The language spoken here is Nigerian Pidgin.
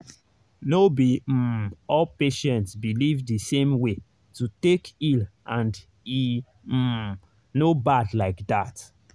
no be um all patients believe the same way to take heal and e um no bad like that.